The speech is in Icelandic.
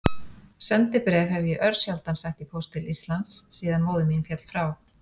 Sendibréf hef ég örsjaldan sett í póst til Íslands síðan móðir mín féll frá.